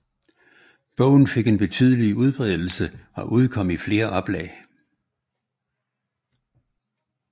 Bogen fik en betydelig udbredelsen og udkom i flere oplag